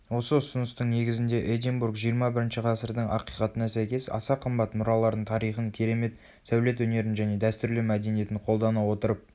осы ұсыныстың негізінде эдинбург жиырма бірінші ғасырдың ақиқатына сәйкес аса қымбат мұраларын тарихын керемет сәулет өнерін және дәстүрлі мәдениетін қолдана отырып